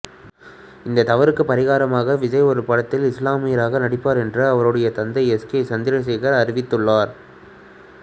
இத்தவறுக்கு பரிகாரமாக விஜய் ஒரு படத்தில் இசுலாமியராக நடிப்பார் என்று அவருடைய தந்தை எஸ் ஏ சந்திரசேகர் அறிவித்துள்ளார்